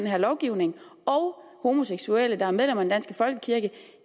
her lovgivning og homoseksuelle der er medlemmer danske folkekirke